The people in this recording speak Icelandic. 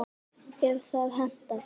ef það hentar!